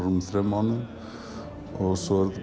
þremur mánuðum og svo